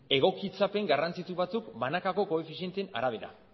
egokitzapen garrantzitsu batzuk banakako koefizienteen arabera